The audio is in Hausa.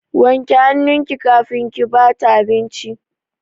Wanke hannunki kafin ki ba ta abinci!